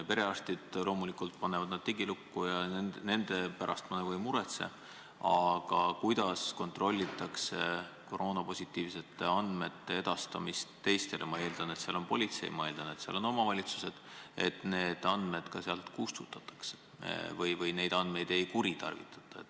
Perearstid loomulikult panevad nad digilukku ja nende pärast ma ei muretse, aga kuidas kontrollitakse koroonapositiivsete andmete edastamist teistele – ma eeldan, et seal on politsei, ma eeldan, et seal on omavalitsused –, et need andmed sealt ka kustutatakse või neid andmeid ei kuritarvitata?